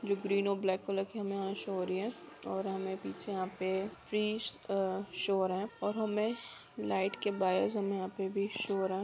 Green और black colour की हमें शो हो रही है और हमें पीछे यहाँ पे फिश शो हो रहा है और हमें लाइट के हमें यहाँ पे भी शो हो रहा है।